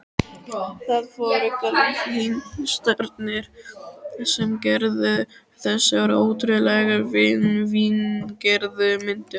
Það voru kalvínistarnir sem gerðu þessar ótrúlega fíngerðu myndir.